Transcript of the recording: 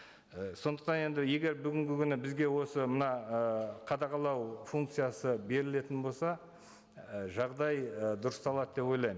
і сондықтан енді егер бүгінгі күні бізге осы мына ы қадағалау функциясы берілетін болса і жағдай і дұрысталады деп ойлаймын